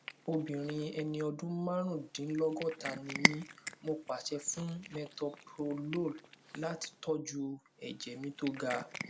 obìnrin ẹni ọdún márùndínlọgọta ni mí mo pàṣẹ fún metoprolol láti tọjú ẹjẹ mi tó ga